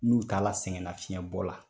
N'u taala sɛngɛnafiɲɛ bɔ la.